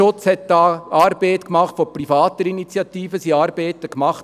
Seitens des Uferschutzes wurden von privaten Initiativen Studien erstellt.